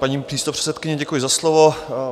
Paní místopředsedkyně, děkuji za slovo.